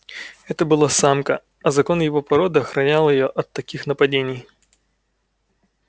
это была самка а закон его породы охранял её от таких нападений